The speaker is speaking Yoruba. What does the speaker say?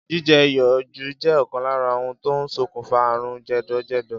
Jíje̩ iyò̩ jù jé̩ ò̩kan lára ohun tó ń sokùnfà àrùn jè̩dò̩jè̩dò̩